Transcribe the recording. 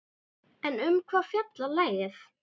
En um hvað fjallar lagið?